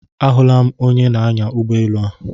Ahụla m onyenaanya ụgbọelu a.